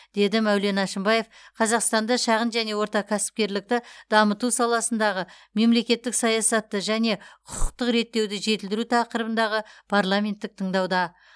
деді мәулен әшімбаев қазақстанда шағын және орта кәсіпкерлікті дамыту саласындағы мемлекеттік саясатты және құқықтық реттеуді жетілдіру тақырыбындағы парламенттік тыңдауда